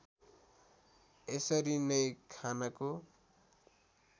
यसरी नै खानको